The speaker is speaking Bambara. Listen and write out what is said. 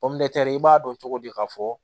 i b'a dɔn cogo di k'a fɔ